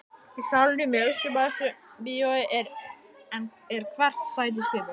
Í salnum í Austurbæjarbíói er hvert sæti skipað.